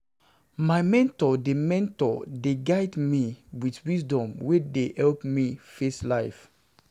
My mentor dey mentor dey guide me wit wisdom wey dey help me face life.